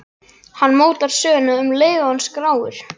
Hann mótar söguna um leið og hann skráir.